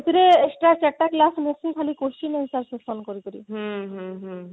ସେଥିରେ extra ଚାରି ଟା class ରହୁଛି ଖାଲି question କରିକିରି